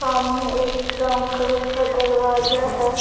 सामने एक brown colour का दरवाजा है।